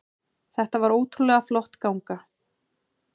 Þetta var ótrúlega flott ganga